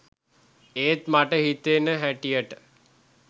ඒත් මට හිතෙන හැටියට